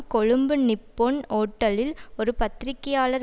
Colombo Nippon ஹோட்டலில் ஒரு பத்திரிகையாளர்